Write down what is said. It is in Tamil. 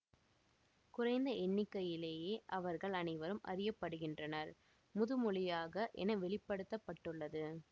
குறைந்த எண்ணிக்கையிலேயே அவர்கள் அனைவரும் அறியப்படுகின்றனர் முதுமொழியாக என வெளி படுத்த பட்டுள்ளது